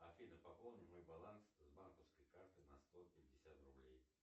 афина пополни мой баланс с банковской карты на сто пятьдесят рублей